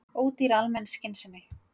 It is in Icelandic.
Ódýr almenn skynsemi